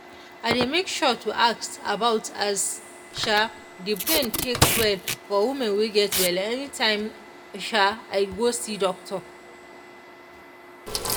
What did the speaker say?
i dey make sure to ask about as um the brain take well for woman wey get belle anytime um i go see doctor